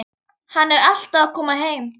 Hann er alltaf að koma heim.